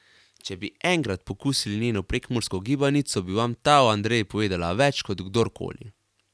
Če bi enkrat pokusili njeno prekmursko gibanico, bi vam ta o Andreji povedala več kot kdorkoli.